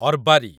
ଅର୍ବାରି